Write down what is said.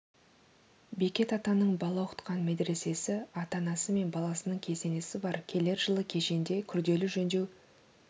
бекет атаның бала оқытқан медресесі ата-анасы мен баласының кесенесі бар келер жылы кешенде күрделі жөндеу